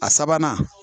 A sabanan